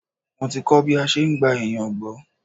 Mo ti kọ́ bí a ṣe ń gba ènìyàn gbọ́.